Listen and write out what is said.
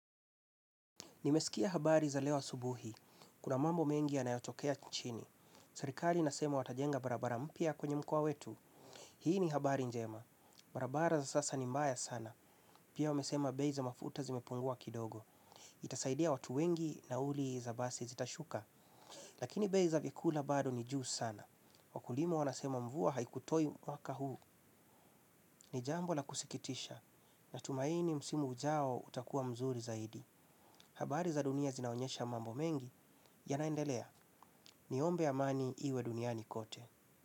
Nimesikia habari za leo asubuhi. Kuna mambo mengi yanayotokea chini. Serikali nasema watajenga barabara mpia kwenye mkoa wetu. Hii ni habari njema. Barabara za sasa ni mbaya sana. Pia wamesema bei za mafuta zimepungua kidogo. Itasaidia watu wengi nauli za basi zitashuka. Lakini bei za vyakula bado ni juu sana. Wakulima wanasema mvua haikutoi mwaka huu. Ni jambo la kusikitisha. Natumaini msimu ujao utakuwa mzuri zaidi. Habari za dunia zinaonyesha mambo mengi yanaendelea niombe amani iwe duniani kote.